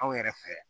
Anw yɛrɛ fɛ